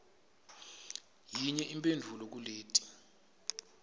yinye imphendvulo kuleti